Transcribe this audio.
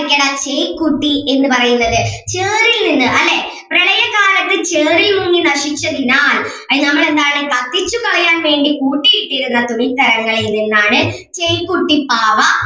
ചെയ്‌ക്കുട്ടി എന്ന് പറയുന്നത് ചേറിൽ നിന്ന് അല്ലേ പ്രളയകാലത്ത് ചേറിൽ മുങ്ങി നശിച്ചതിനാൽ അയിന് നമ്മൾ എന്താണ് കത്തിച്ചു കളയാൻ വേണ്ടി കൂട്ടി ഇട്ടിരുന്ന തുണിത്തരങ്ങളിൽ നിന്നാണ് ചെയ്‌ക്കുട്ടി പാവ